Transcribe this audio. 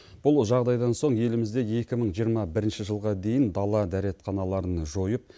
бұл жағдайдан соң елімізде екі мың жиырма бірінші жылға дейін дала дәретханаларын жойып